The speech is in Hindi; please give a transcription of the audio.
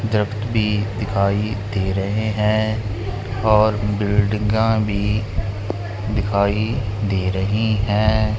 भी दिखाई दे रहे हैं और बिल्डिंगा भी दिखाई दे रहे हैं।